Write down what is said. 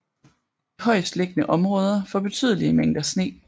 De højestliggende områder får betydelige mængder sne